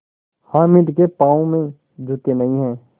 हामिद के पाँव में जूते नहीं हैं